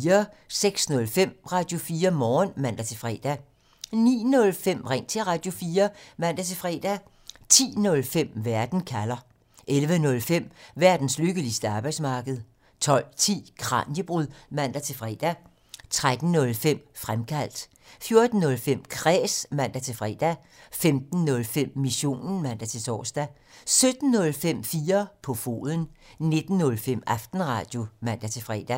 06:05: Radio4 Morgen (man-fre) 09:05: Ring til Radio4 (man-fre) 10:05: Verden kalder (man) 11:05: Verdens lykkeligste arbejdsmarked (man) 12:10: Kraniebrud (man-fre) 13:05: Fremkaldt (man) 14:05: Kræs (man-fre) 15:05: Missionen (man-tor) 17:05: 4 på foden (man) 19:05: Aftenradio (man-fre)